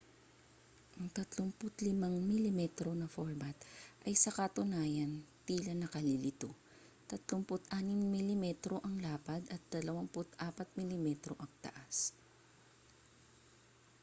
ang 35 mm na format ay sa katunayan tila nakalilito 36mm ang lapad at 24mm ang taas